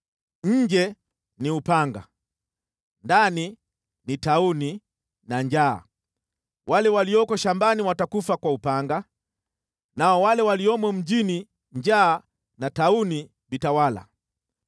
“Nje ni upanga, ndani ni tauni na njaa, wale walioko shambani watakufa kwa upanga, nao wale waliomo mjini njaa na tauni vitawala.